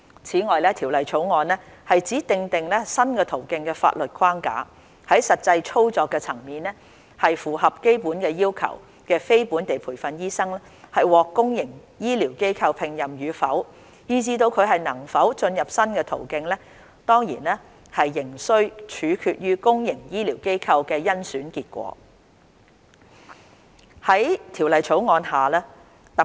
此外，《條例草案》只訂定新途徑的法律框架，在實際操作層面，符合基本要求的非本地培訓醫生獲公營醫療機構聘任與否，以致能否進入新途徑，當然仍須取決於公營醫療機構的甄選結果。